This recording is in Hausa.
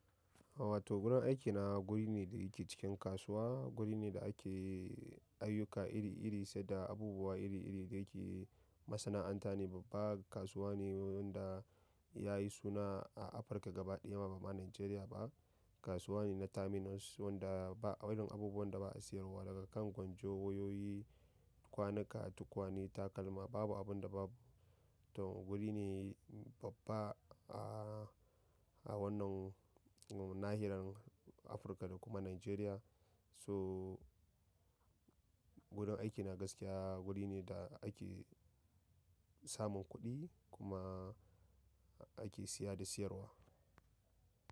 Wato gurin aikina gurine da ya ke cikin kasuwa gurine da ake ayyuka iri iri se da abubuwa iri iri da yake masana'anta ne babba. Kasuwa ne wanda ya yi suna a Afirka gaba ɗaya ba ma Najeriya ba. Kasuwa ne na terminals wanda ba irin abubuwan da ba a siyarwa daga kan gwanjon wayoyi, kwanuka, tukwane, takalma babu abun da babu. To guri ne babba a wannan nahiyar Afirka da kuma Najeriya. So gurin aikina gaskiya guri ne da ake samun kuɗi kuma ake siya da siyarwa.